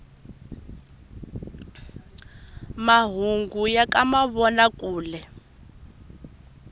mahungu ya ka mavona kule